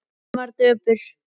Hún var döpur.